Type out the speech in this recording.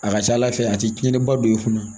A ka ca ala fɛ a ti tiɲɛni ba don i kunna